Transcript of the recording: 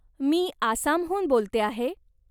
मी आसामहून बोलते आहे.